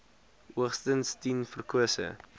hoogstens tien verkose